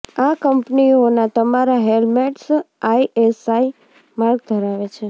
આ કંપનીઓના તમામ હેલ્મેટ્સ આઈએસઆઈ માર્ક ધરાવે છે